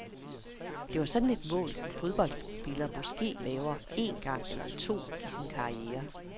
Det var sådan et mål, en fodboldspiller måske laver en gang eller to i sin karriere.